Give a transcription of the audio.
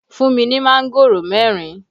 Fún mi ní mángòrò mẹ́rin!